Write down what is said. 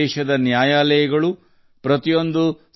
ದೇಶದ ನ್ಯಾಯಾಲಯಗಳು